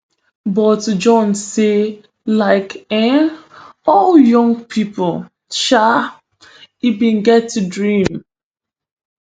but john say like um all young pipo um e bin get dream